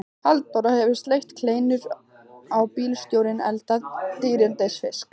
Halldóra hefur steikt kleinur og bílstjórinn eldað dýrindis fisk.